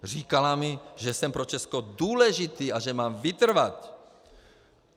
Říkala mi, že jsem pro Česko důležitý a že mám vytrvat.